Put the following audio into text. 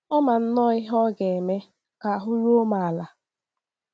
Ọ ma nnọọ ihe ọ ga - eme ka ahụ́ ruo m ala.